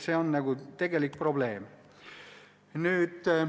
See on tegelik probleem.